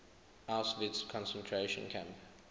auschwitz concentration camp